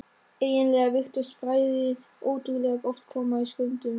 Eiginlega virtist frægðin ótrúlega oft koma í skömmtum.